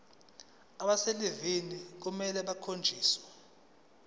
abaselivini kufanele bakhonjiswe